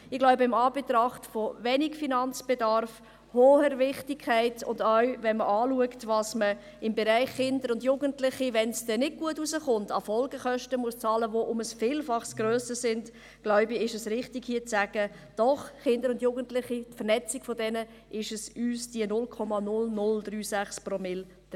Ich glaube, in Anbetracht des geringen Finanzbedarfs, der hohen Wichtigkeit und wegen der Folgekosten im Kinder- und Jugendbereich, die um ein Vielfaches höher sind, wenn es dann nicht gut herauskommt, ist es richtig, hier zu sagen: Doch, die Vernetzung im Bereich Kinder und Jugendliche ist uns 0,0036 Promille wert.